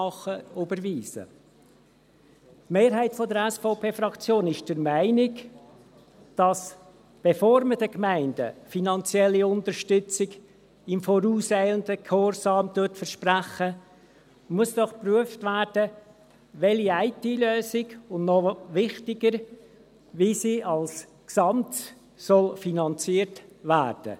– Die Mehrheit der SVP-Fraktion ist der Meinung, dass doch geprüft werden muss, welche IT-Lösung kommt und noch wichtiger, wie sie als Gesamtes finanziert werden soll, bevor man den Gemeinden finanzielle Unterstützung in vorauseilendem Gehorsam verspricht.